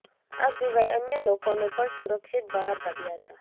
આ સિવાય અન્ય લોકોને પણ સુરક્ષિત બહાર કાઢ્યા હતા